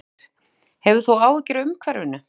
Kristín Ýr: Hefur þú áhyggjur af umhverfinu?